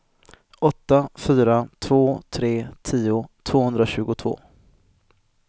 åtta fyra två tre tio tvåhundratjugotvå